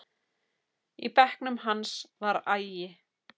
Í bekknum hans var agi.